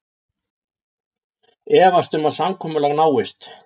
Efast um að samkomulag náist